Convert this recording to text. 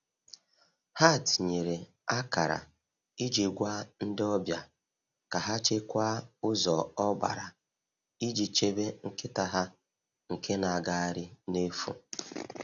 Ha tinyere akara iji gwa ndị ọbịa ka ha chekwaa ụzọ ọgbara iji chebe nkịta ha nke na-agagharị n’efu.